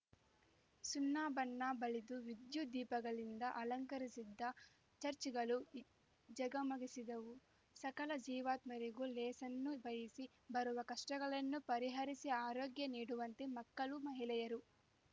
ಸುಣ್ಣ ಬಣ್ಣ ಬಳಿದು ವಿದ್ಯುತ್‌ ದೀಪಗಳಿಂದ ಅಲಂಕರಿಸಿದ್ದ ಚಚ್‌ರ್‍ಗಳು ಝಗಮಗಿಸಿದವು ಸಕಲ ಜೀವಾತ್ಮರಿಗೂ ಲೇಸನ್ನು ಬಯಸಿ ಬರುವ ಕಷ್ಟಗಳನ್ನು ಪರಿಹರಿಸಿ ಆರೋಗ್ಯ ನೀಡುವಂತೆ ಮಕ್ಕಳು ಮಹಿಳೆಯರು